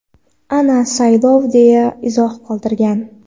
Ana saylov, deya izoh qoldirgan.